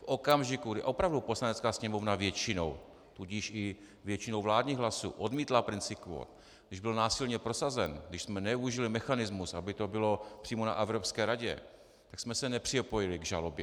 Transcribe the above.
V okamžiku, kdy opravdu Poslanecká sněmovna většinou, tudíž i většinou vládních hlasů, odmítla princip kvót, když byl násilně prosazen, když jsme nevyužili mechanismus, aby to bylo přímo na Evropské radě, tak jsme se nepřipojili k žalobě.